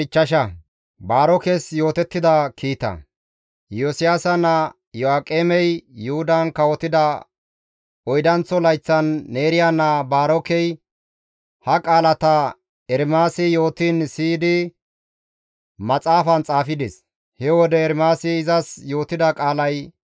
Iyosiyaasa naa Iyo7aaqemey Yuhudan kawotida oydanththo layththan, Neeriya naa Baarokey ha qaalata Ermaasi yootiin siyidi maxaafan xaafides. He wode Ermaasi izas yootida qaalay,